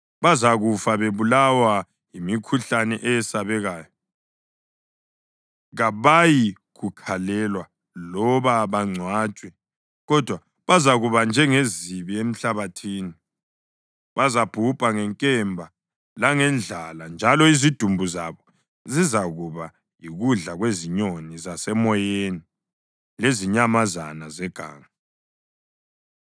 “Bazakufa bebulawa yimikhuhlane eyesabekayo. Kabayikukhalelwa loba bangcwatshwe, kodwa bazakuba njengezibi emhlabathini. Bazabhubha ngenkemba langendlala, njalo izidumbu zabo zizakuba yikudla kwezinyoni zasemoyeni lezinyamazana zeganga.”